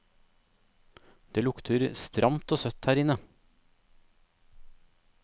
Det lukter stramt og søtt her inne.